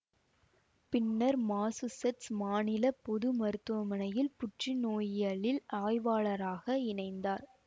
பின்னர் மாசூசெட்ஸ் மாநில பொது மருத்துவமனையில் புற்றுநோயியலில் ஆய்வாளராக இணைந்தார்